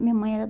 A minha mãe era